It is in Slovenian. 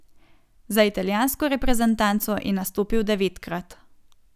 Za italijansko reprezentanco je nastopil devetkrat.